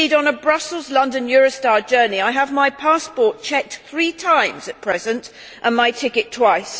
Indeed, on a Brussels London Eurostar journey I have my passport checked three times at present and my ticket twice.